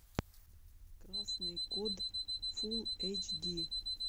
красный код фул эйч ди